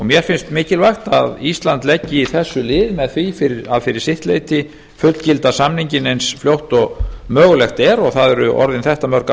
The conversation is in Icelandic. mér finnst mikilvægt að ísland leggi þessu lið með því að fyrir sitt leyti fullgilda samninginn eins fljótt og mögulegt er og það eru orðin þetta mörg ár